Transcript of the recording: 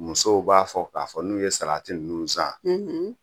Musow b'a fɔ k'a fɔ n'u ye sarati ninnu san